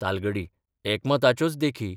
तालगडी एकमताच्योच देखी.